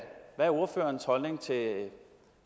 er ordførerens holdning til